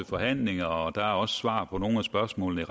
forhandlinger og der kommer også svar på nogle af spørgsmålene